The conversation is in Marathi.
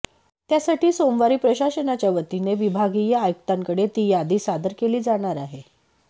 त्यासाठी सोमवारी प्रशासनाच्या वतीने विभागीय आयुक्तांकडे ती यादी सादर केली जाणार आहे